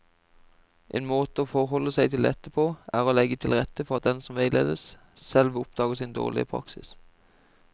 En måte å forholde seg til dette på er å legge til rette for at den som veiledes, selv oppdager sin dårlige praksis.